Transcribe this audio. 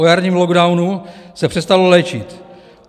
O jarním lockdownu se přestalo léčit.